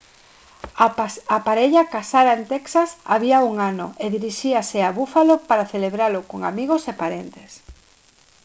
a parella casara en texas había un ano e diríxase a buffalo para celebralo con amigos e parentes